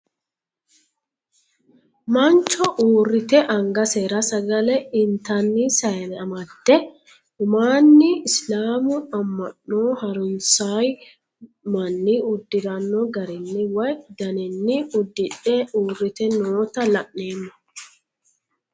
mancho uurite angasera sagale intanni saane amadde umaanni isilaamu amma'no harunsayoo manni uddiranno garinni woye daninni udidhe uurite noota la'neemo.